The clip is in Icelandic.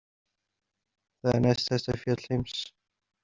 Það er næsthæsta fjall heims.